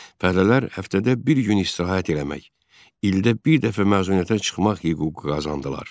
Fəhlələr həftədə bir gün istirahət eləmək, ildə bir dəfə məzuniyyətə çıxmaq hüququ qazandılar.